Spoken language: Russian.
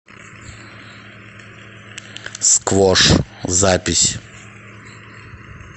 сквош запись